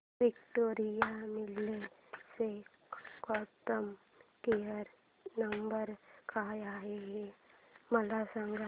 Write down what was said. Victoria Mills चा customer care number काय आहे हे मला सांगा